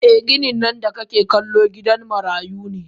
Eh ginin nan da kake kallo gidan marayu ne.